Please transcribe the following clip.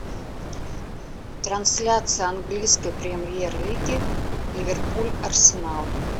трансляция английской премьер лиги ливерпуль арсенал